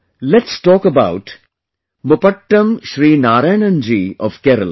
let's talk about Mupattam Sri Narayanan ji of Kerala